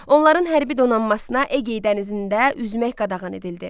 Onların hərbi donanmasına Egey dənizində üzmək qadağan edildi.